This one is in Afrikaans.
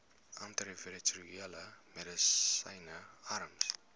antiretrovirale medisyne arms